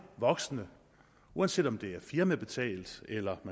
voksne uanset om det er firmabetalt eller